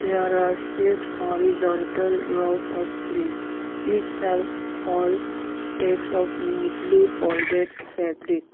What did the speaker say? there are six horizontal rows of sleeves each shelf hold stacks of neatly folded fabric.